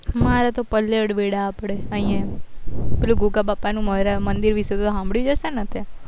મારા તો પલ્લવ વેડા આપડે અહિયાં પેલું ગોગા બાપા ના મંદિર વિશે તો તે સાભળ્યું જ હશે ને તે